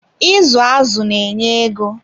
Izu azụ na enye ego.